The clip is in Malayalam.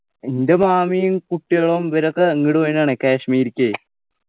എൻ്റെ മാമിയും കുട്ടികളും ഇവരൊക്കെ അങ്ങട് പോയതാണെ കാശ്മീരിക്കെ